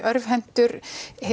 örvhentur